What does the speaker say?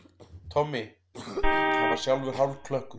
Tommi, hann var sjálfur hálfklökkur.